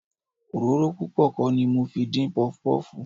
Òróró púpọ̀ kọ́ ni mo fi dín Pọpọ́ọ̀fù.